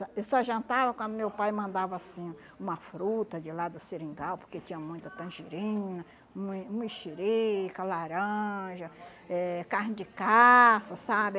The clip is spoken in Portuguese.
Eu só jantava quando meu pai mandava, assim, uma fruta de lá do Seringal, porque tinha muita tangerina, mui mexerica, laranja, eh carne de caça, sabe?